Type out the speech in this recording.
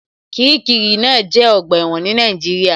Kiríkirì náà jẹ́ ọgbà ẹ̀wọ̀n ní Nàìjíríà